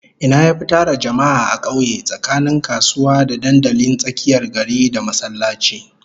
Ina yafi tara jama'a a kauye tsakanin kasuwa, da dandalin tsakiyar gari, da masallaci?